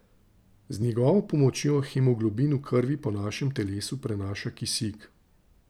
Z njegovo pomočjo hemoglobin v krvi po našem telesu prenaša kisik.